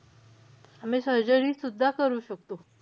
आम्ही surgery सुद्धा करू शकतो.